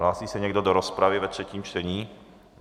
Hlásí se někdo do rozpravy ve třetím čtení?